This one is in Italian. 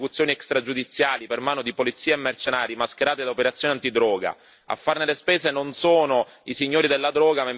Nelle Filippine si sta assistendo infatti a un numero spaventoso di esecuzioni extragiudiziali per mano di polizia e mercenari, mascherate da operazione antidroga.